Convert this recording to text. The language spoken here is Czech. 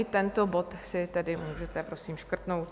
I tento bod si tedy můžete, prosím, škrtnout.